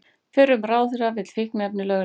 Fyrrum ráðherra vill fíkniefni lögleg